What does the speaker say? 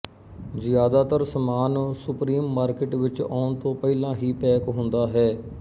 ਜ਼ਿਆਦਾਤਰ ਸਮਾਨ supermarket ਵਿੱਚ ਆਉਣ ਤੋਂ ਪਹਿਲਾਂ ਹੀ ਪੈਕ ਹੁੰਦਾ ਹੈ